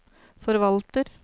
forvalter